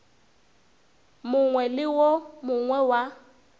mongwe le wo mongwe wa